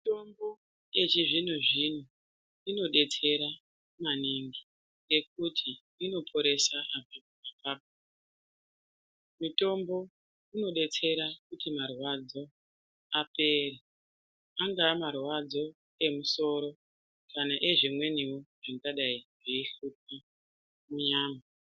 Mitombo yechizvino zvino inodetsera maningi ngekuti inoperesha antu muzimba. Mitombo inodetsera kuti marwadzo apere, angaa marwadzo emusoro kana ezvimwenivo zvikadai zveihlupa munyama.